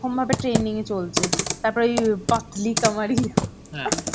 ভাবে trending এ চলছে. তারপর ওই Hindi